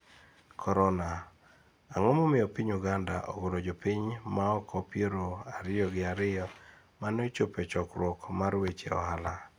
Korona: Ang'o momiyo piny Uganda ogolo jopiny maoko piero ariyo gi ariyo mane ochopo e chokruok mar weche ohala